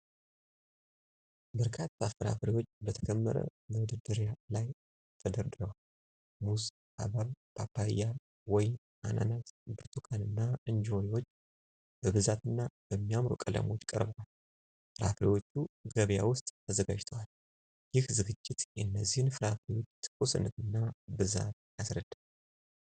በርካታ ፍራፍሬዎች በተከመረ መደርደሪያ ላይ ተደርድረዋል። ሙዝ፣ ሐብሐብ፣ ፓፓያ፣ ወይን፣ አናናስ፣ ብርቱካን እና እንጆሪዎች በብዛትና በሚያምሩ ቀለሞች ቀርበዋል። ፍራፍሬዎቹ ገበያ ውስጥ ተዘጋጅተዋል። ይህ ዝግጅት የእነዚህን ፍራፍሬዎች ትኩስነትና ብዛት ያስረዳል።